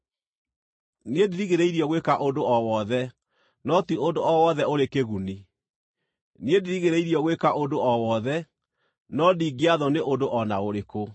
“Niĩ ndirigĩrĩirio gwĩka ũndũ o wothe,” no ti ũndũ o wothe ũrĩ kĩguni. “Niĩ ndirigĩrĩirio gwĩka ũndũ o wothe,” no ndingĩathwo nĩ ũndũ o na ũrĩkũ.